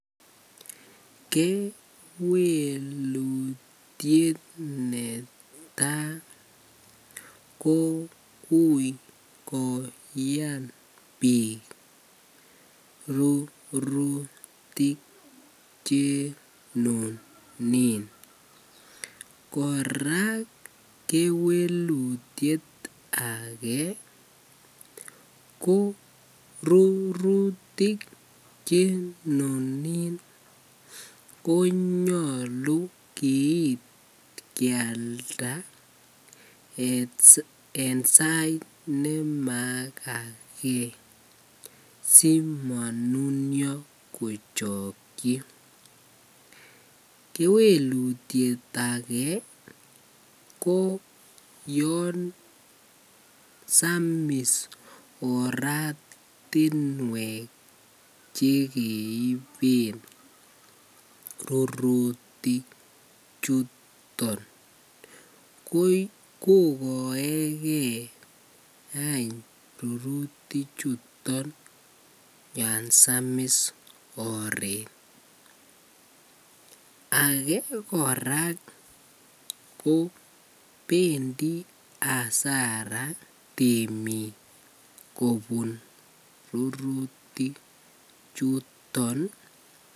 Kewelutiet netaa ko uii koyan biik rurutik chenunin kora kewelutiet akee ko rurutik chenunin ko nyolu kiit kialda en sait nemakakee simonunuo kochokyi, kewelutiet akee ko yoon samis oratinwek chekeiben rurutik chuton kokoeke any ruruti chuton yoon samis oreet, akee kora kobendi asara temik kobun ruruti chuton.